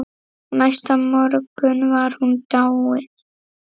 Næsta morgun var hún dáin.